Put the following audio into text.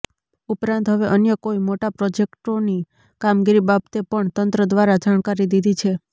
ઉપરાંત હવે અન્ય કોઈ મોટા પ્રોજેક્ટોની કામગીરી બાબતે પણ તંત્ર દ્વારા જાણકારી દીધી છે